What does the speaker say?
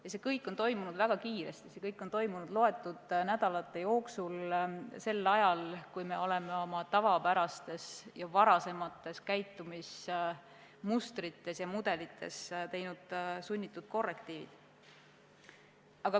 Ja see kõik on toimunud väga kiiresti, see kõik on toimunud loetud nädalate jooksul, ajal, kui oleme oma varasemates käitumismustrites ja -mudelites teinud sunnitud korrektiive.